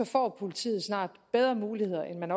får politiet snart bedre muligheder end man